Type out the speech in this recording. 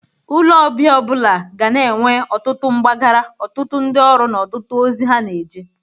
Ụlọ ọbịa ọ bụla ga na-enwe ọtụtụ mgbagara, ọtụtụ ndị ọrụ na ọtụtụ ozi ha na-eje.